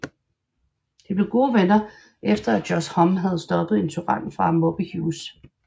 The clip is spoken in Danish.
De blev gode venner efter at Josh Homme havde stoppet en tyran fra at mobbe Hughes